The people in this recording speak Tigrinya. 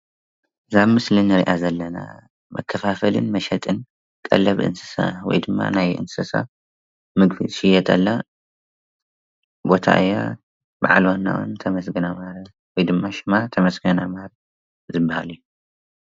እዛ ኣብ ምስሊ እንሪኣ ዘለና መከፋፈልን መሸጥን ቀለብ እንስሳ ወይ ድማ ናይ እንስሳ ምግቢ ዝሽየጠላ ቦታ እያ፡፡ ብዓል ዋናኣ ዉን ተመስገን ኣምሃ ዝብሃል እዩ፡፡